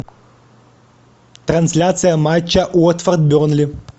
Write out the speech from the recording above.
трансляция матча уотфорд бернли